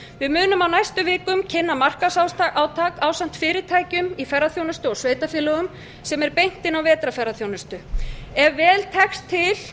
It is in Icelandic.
við munum á næstu vikum kynna markaðsátak ásamt fyrirtækjum í ferðaþjónustu og sveitarfélögum sem er beint inn á vetrarferðaþjónustu ef vel tekst til